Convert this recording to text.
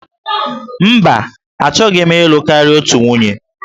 Mba, achọghị m ịlụ karịa otu nwunye.